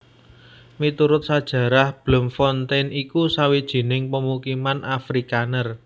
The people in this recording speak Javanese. Miturut sajarah Bloemfontein iku sawijining pamukiman Afrikaner